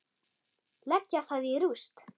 Leggja það í rúst!